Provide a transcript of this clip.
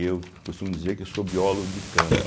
Eu costumo dizer que eu sou biólogo de campo.